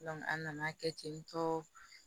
a nana kɛ tentɔ